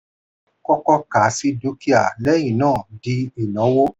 kọ́kọ́ kà á sí dúkìá lẹ́yìn náà di ìnáwó.